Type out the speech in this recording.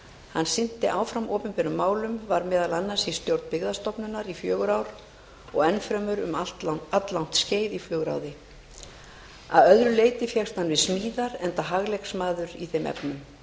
hann sinnti áfram opinberum málum var meðal annars í stjórn byggðastofnunar í fjögur ár og enn fremur um alllangt skeið í flugráði að öðru leyti fékkst hann við smíðar enda hagleiksmaður í þeim efnum